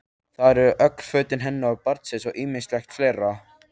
Þar eru öll föt hennar og barnsins og ýmislegt fleira.